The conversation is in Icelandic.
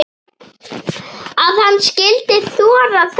Að hann skyldi þora þetta!